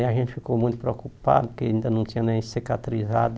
Aí a gente ficou muito preocupado, porque ainda não tinha nem cicatrizado.